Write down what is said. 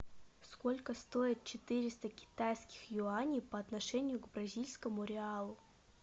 сколько стоит четыреста китайских юаней по отношению к бразильскому реалу